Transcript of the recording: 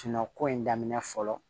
ko in daminɛ fɔlɔ